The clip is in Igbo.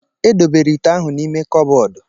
E dobere ite ahụ n'ime kọbọdu.